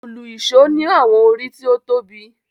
Òlu-ìsó ni àwọn orí tó tóbi.